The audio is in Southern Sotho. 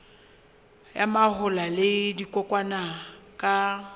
ya mahola le dikokwanyana ka